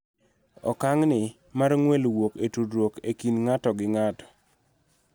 Okang' ni mar ng'wel wuok e tudruok e kind ng�ato gi ng�ato